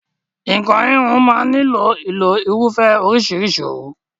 Nǹkan híhun máa ń nílò ìlo irúfẹ́ oríṣìíríṣìí òwú.